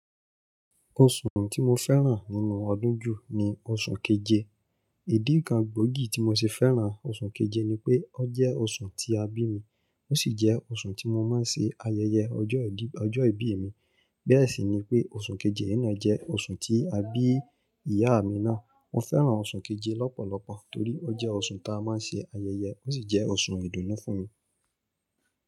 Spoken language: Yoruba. Oṣù tí mo fẹ́ràn nínú ọdún jù ní oṣù keje. Idi kan gbòógì tí mo ṣe fẹ́ràn oṣù keje ni pé ó jẹ́ oṣù tí a bí mi, ó sì jẹ́ oṣù tí mo máa ń ṣe ayẹyẹ ọjọ́ ìbí mi. Bẹ́ẹ̀ sì ni pé oṣù keje yẹn na jẹ́ oṣù tí a bí ìyá mi náà. Mo fẹ́ràn oṣù keje lọ́pọ̀lọpọ̀ torí ó jẹ́ oṣù ta a máa ń ṣe ayẹyẹ, ó sì jẹ́ oṣù ìdùnnú fún mi.